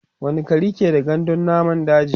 wani gari ke da gandun namun daji?